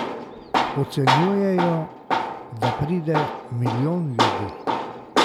Ocenjujejo, da pride milijon ljudi.